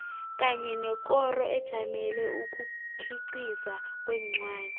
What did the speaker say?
kanye nekoro ejamele ukukhiqiza kwencwadi